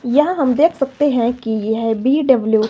यहां हम देख सकते हैं कि यह बी डब्लू --